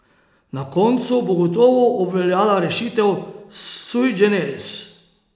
Na koncu bo gotovo obveljala rešitev sui generis.